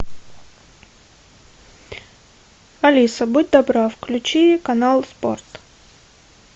алиса будь добра включи канал спорт